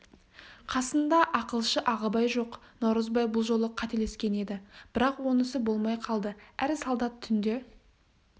қасында ақылшы ағыбай жоқ наурызбай бұл жолы қателескен еді бірақ онысы болмай қалды әр солдат түнде